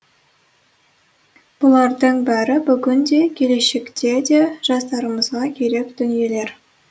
бұлардың бәрі бүгін де келешекте де жастарымызға керек дүниелер